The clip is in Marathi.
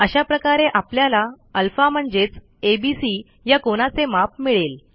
अशा प्रकारे आपल्याला अल्फा म्हणजेच एबीसी या कोनाचे माप मिळेल